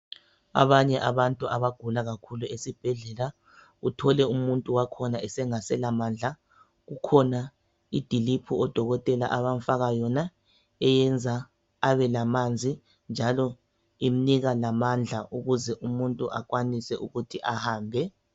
Abanye abantu abagula kakhulu esibhedlela uthole umuntu wakhona engasela mandla kukhona idiliphu odokotela abamfaka yona eyenza abe lamanzi njalo imnika lamandla ukuze umuntu akwanise ukuthi ahambe.